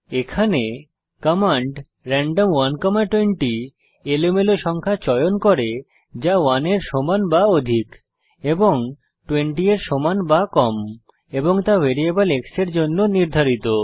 এখানে command random 120 এলোমেলো সংখ্যা চয়ন করে যা 1 এর সমান বা অধিক এবং 20 এর সমান বা কম এবং তা ভ্যারিয়েবল x এর জন্য নির্ধারিত